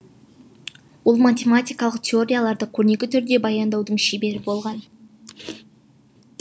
ол математикалық теорияларды көрнекі түрде баяндаудың шебері болған